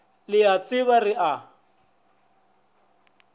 le a itseba re a